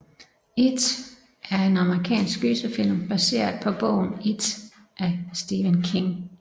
It er en amerikansk gyserfilm baseret på bogen It af Stephen King